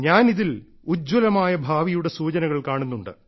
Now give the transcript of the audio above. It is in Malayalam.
ഞാൻ ഇതിൽ ഉജ്ജ്വലമായ ഭാവിയുടെ സൂചനകൾ കാണുന്നു